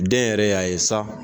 Den yɛrɛ y'a ye sa.